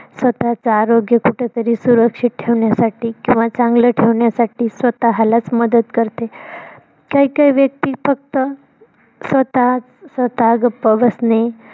स्वतःच आरोग्य कुठतरी सुरक्षित ठेवण्यासाठी किंव्हा चांगलं ठेवण्यासाठी स्वतःलाच मदत करते. काही काही व्यक्ती फक्त स्वताः स्वताः गप्प बसने